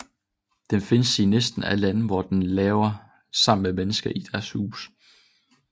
Den findes i næsten alle lande hvor den lever sammen med mennesker i deres huse